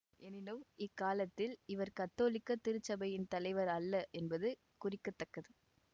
எனினும் இக்காலத்தில் இவர் கத்தோலிக்க திருச்சபையின் தலைவர் அல்ல என்பது குறிக்க தக்கது